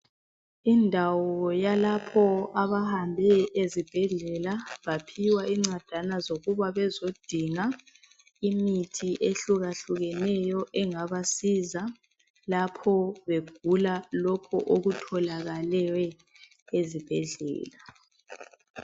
Indawo yalapho abantu abahambe ezibhedlela baphiwa incwadana zokuba bezodinga imithi ehluka hlukeneyo engabasiza lapho begula lokho okutholakeleyo ezibhedlela